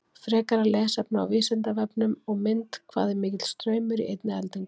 Frekara lesefni á Vísindavefnum og mynd Hvað er mikill straumur í einni eldingu?